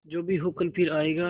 जो भी हो कल फिर आएगा